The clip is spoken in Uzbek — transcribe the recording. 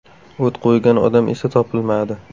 O‘t qo‘ygan odam esa topilmadi.